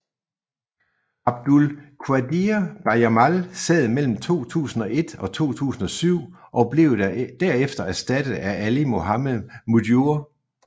Abdul Qadir Bajamal sad mellem 2001 og 2007 og blev der efter erstattet af Ali Mohammed Mujur